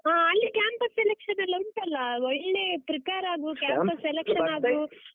ಹಾ ಅಲ್ಲಿ campus selection ಎಲ್ಲ ಉಂಟಲ್ಲಾ, ಒಳ್ಳೆ prepare campus selection ಆಗು.